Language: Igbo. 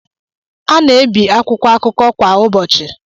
A na-ebi akwụkwọ akụkọ kwa ụbọchị